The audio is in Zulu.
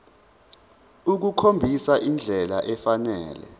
ukukhombisa indlela efanele